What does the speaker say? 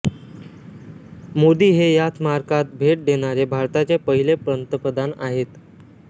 मोदी हे या स्मारकास भेट देणारे भारताचे पहिले पंतप्रधान आहेत